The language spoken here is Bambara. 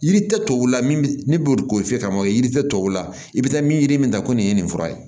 Yiri tɛ tɔw la min ne b'o kofeere kama yiri tɛ tɔw la i bɛ taa min yiri min ta ko nin ye nin fura ye